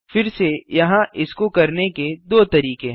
फिर से यहाँ इसको करने के दो तरीके हैं